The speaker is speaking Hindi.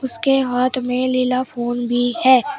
उसके हाथ में निला फोन भी है।